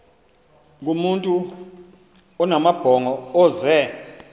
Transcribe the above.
kumntu onamabhongo ozee